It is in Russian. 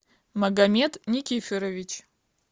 магомед никифорович